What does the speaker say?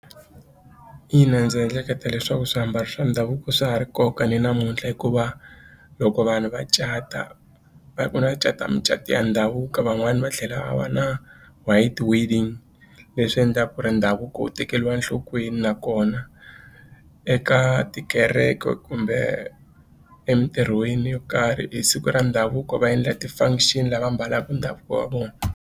Ina ndzi ehleketa leswaku swiambalo swa ndhavuko swa ha ri nkoka ni namuntlha hikuva loko vanhu va cata va vona va cata mucato ya ndhavuko van'wani va tlhela va va na white wedding leswi endlaka ku ri ndhavuko wu tekeriwa enhlokweni nakona eka tikereke kumbe emitirhweni yo karhi hi siku ra ndhavuko va endla ti-function lava ambalaka ndhavuko wa vona.